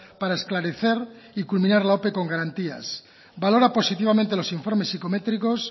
para esclarecer y culminar la ope con garantías valora positivamente los informes psicométricos